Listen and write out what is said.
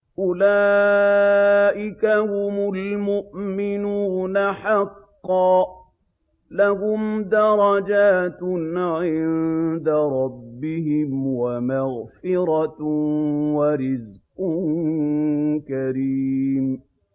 أُولَٰئِكَ هُمُ الْمُؤْمِنُونَ حَقًّا ۚ لَّهُمْ دَرَجَاتٌ عِندَ رَبِّهِمْ وَمَغْفِرَةٌ وَرِزْقٌ كَرِيمٌ